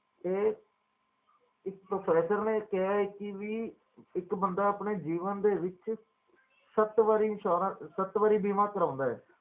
ਇਹ ਇੱਕ ਪ੍ਰੋਫੈਸਰ ਨੇ ਕਿਹਾ ਹੈ ਕਿ ਵੀ ਇੱਕ ਬੰਦਾ ਆਪਣੇ ਜੀਵਨ ਦੇ ਵਿੱਚ ਸੱਤ ਵਾਰ insurance ਸੱਤ ਵਾਰੀ ਬੀਮਾ ਕਰਾਉਂਦਾ ਹੈ